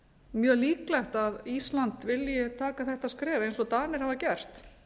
mjög líklegt að ísland vilji taka þetta skref eins og danir hafa gert